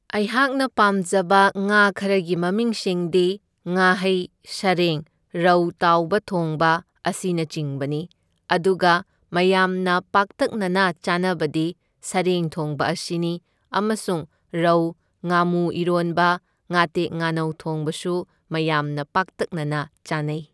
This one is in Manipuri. ꯑꯩꯍꯥꯛꯅ ꯄꯥꯝꯖꯕ ꯉꯥ ꯈꯔꯒꯤ ꯃꯃꯤꯡꯁꯤꯡꯗꯤ ꯉꯥꯍꯩ, ꯁꯔꯦꯡ, ꯔꯧ ꯇꯥꯎꯕ ꯊꯣꯡꯕ, ꯑꯁꯤꯅꯆꯤꯡꯕꯅꯤ꯫ ꯑꯗꯨꯒ ꯃꯌꯥꯝꯅ ꯄꯥꯛꯇꯛꯅꯅ ꯆꯥꯅꯕꯗꯤ ꯁꯔꯦꯡ ꯊꯣꯡꯕ ꯑꯁꯤꯅꯤ, ꯑꯃꯁꯨꯡ ꯔꯧ, ꯉꯥꯃꯨ ꯏꯔꯣꯟꯕ, ꯉꯥꯇꯦꯛ ꯉꯥꯅꯧ ꯊꯣꯡꯕꯁꯨ ꯃꯌꯥꯝꯅ ꯄꯥꯛꯇꯛꯅꯅ ꯆꯥꯅꯩ꯫